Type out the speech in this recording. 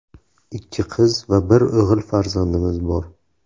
Ikki qiz va bir o‘g‘il farzandimiz bor.